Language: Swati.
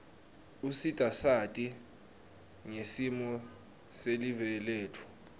usita sati ngesimo silive letfu